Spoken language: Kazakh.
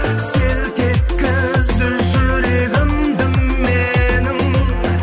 селт еткізді жүрегімді менің